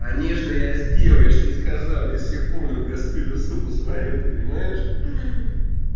конечно я сделал я же тебе сказал я себе полную кастрюлю сварил ты понимаешь ха